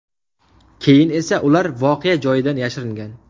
Keyin esa ular voqea joyidan yashiringan.